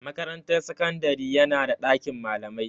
Makarantar sakandari yana da ɗakin malamai.